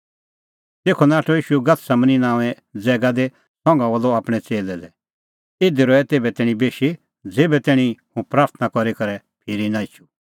तेखअ नाठअ ईशू गतसमनीं नांओंए ज़ैगा दी संघा बोलअ आपणैं च़ेल्लै लै इधी रहै तेभै तैणीं बेशी ज़ेभै तैणीं कि हुंह प्राथणां करी फिरी नां एछूं